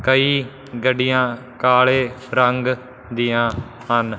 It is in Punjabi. ਕਈ ਗੱਡੀਆਂ ਕਾਲੇ ਰੰਗ ਦੀਆਂ ਹਨ।